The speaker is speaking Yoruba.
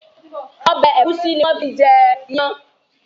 Ọbẹ̀ ẹ̀gúsí ni wón fi ń jẹ ìyàn